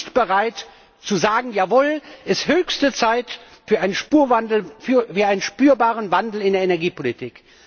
Dann sind wir nicht bereit zu sagen Jawohl, es ist höchste Zeit für einen Spurwandel, für einen spürbaren Wandel in der Energiepolitik.